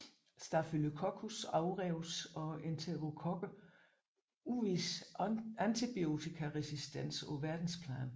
Staphylococcus aureus og enterokokker udviser antibiotikaresistens på verdensplan